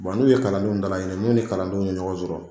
n'u ye kalandenw dala ɲini n'u ni kalandenw ye ɲɔgɔn sɔrɔ,